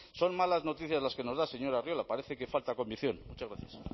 son malas noticias las que nos da señora arriola parece que falta convicción muchas gracias